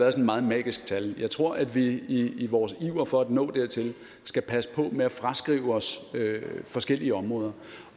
et meget magisk tal jeg tror at vi i i vores iver for at nå dertil skal passe på med at fraskrive os forskellige områder